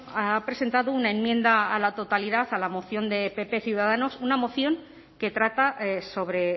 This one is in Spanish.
ha presentado una enmienda a la totalidad a la moción de pp ciudadanos una moción que trata sobre